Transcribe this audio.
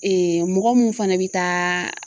mɔgɔ mun fana bɛ taa